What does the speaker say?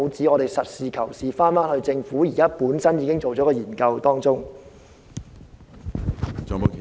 我們要實事求是，翻看政府本身已經完成的研究。